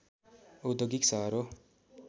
औद्योगिक सहर हो